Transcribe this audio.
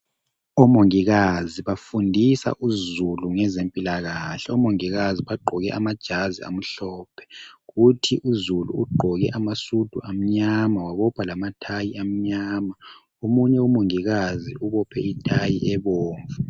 Omongikazi bafundisa uzulu ngezempilakahle .Omongikazi bagqoke amajazi amhlophe kuthi uzulu ugqoke amasudu amnyama wabopha lamathayi amnyama .Omunye umongikazi ubophe ithayi ebomvu.